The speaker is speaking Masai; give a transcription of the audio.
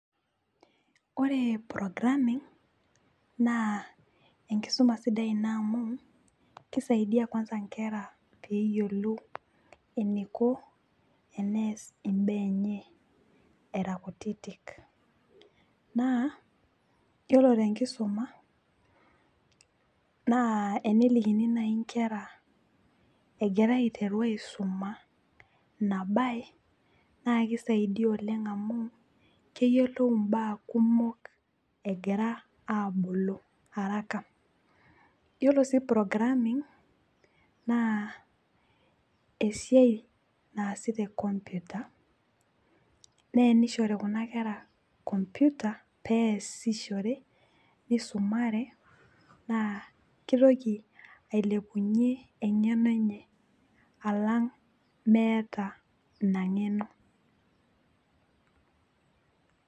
ore programming naa enkisuma sidai ina amu kisaidia kwanza nkera pee eyiolou eniko enees imbaa enye, era kutitik. naa iyiolo tenkiisuma naa enelikini naaji nkera, egira aiteru aisuma ina mbae naa kisaidia oleng amu. keyiolou imbaa kumok egira, aabulu araka. iyiolo sii programmin naa esiai naasi te computer naa tenishori kuna kera computer peesishore nisumare naa kitoki ailepunye engeno enye. alang' meeta ina ng'eno.